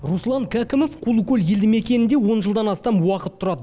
руслан кәкімов құлыкөл елді мекенінде он жылдан астам уақыт тұрады